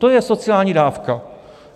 To je sociální dávka.